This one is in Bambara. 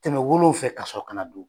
Tɛmɛ wolonw fɛ ka sɔrɔ kana don